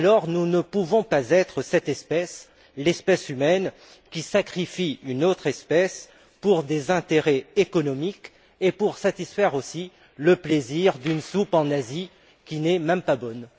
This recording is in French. Nous ne pouvons donc pas être cette espèce l'espèce humaine qui sacrifie une autre espèce pour des intérêts économiques ainsi que pour satisfaire aussi le plaisir, en Asie, d'une soupe, qui n'est même pas bonne.